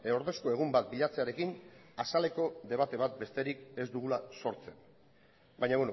ordezko egun bat bilatzearekin azaleko debate bat besterik ez dugula sortzen baina